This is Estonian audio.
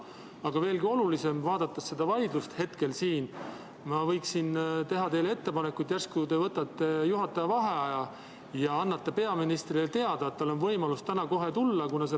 Aga veelgi olulisem, vaadates seda vaidlust siin, ma võiksin teha teile ettepaneku, et järsku te võtate juhataja vaheaja ja annate peaministrile teada, et tal on võimalus täna kohe tulla.